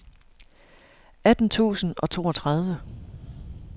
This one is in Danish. atten tusind og toogtredive